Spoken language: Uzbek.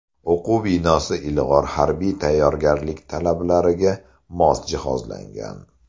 O‘quv binosi ilg‘or harbiy tayyorgarlik talablariga mos jihozlangan.